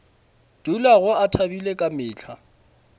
dulago a thabile ka mehla